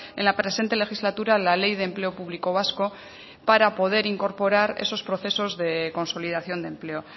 en la presente legislatura la ley de empleo público vasco para poder incorporar esos procesos de consolidación de empleo